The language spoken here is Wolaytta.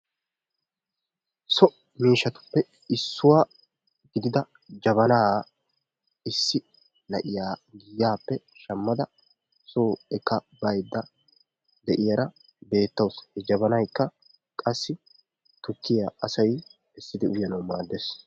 So miishshatuppe issuwa gidida jabana issi na'iya giyaappe shammada soo ekka baydda de'iyaara beetawusu. He jabaykka qassi tukkiya asay essidi uyyanawu maaddees.